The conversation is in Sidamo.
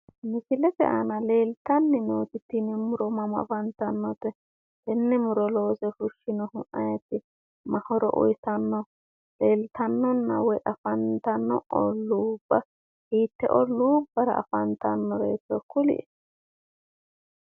Misilete aana leeltanni nooti tini muro mama afantannote? tenne muro loose fushshinohu ayeeti? ma horo uuyitanno? leeltannonna woyi afantanno olluubba hiitte olluubbara afantannoro kulie,